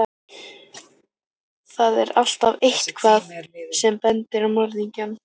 Þar er alltaf EITTHVAÐ sem bendir á morðingjann.